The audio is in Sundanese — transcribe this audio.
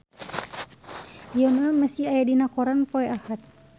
Lionel Messi aya dina koran poe Ahad